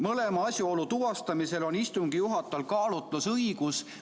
Mõlema asjaolu tuvastamisel on istungi juhatajal kaalutlusõigus.